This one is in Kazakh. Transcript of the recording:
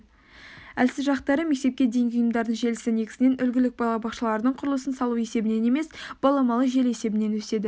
әлсіз жақтары мектепке дейінгі ұйымдардың желісі негізінен үлгілік балабақшалардың құрылысын салу есебінен емес баламалы желі есебінен өседі